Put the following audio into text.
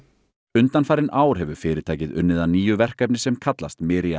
undanfarin ár hefur fyrirtækið unnið að nýju verkefni sem kallast